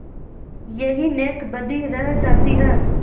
यही नेकबदी रह जाती है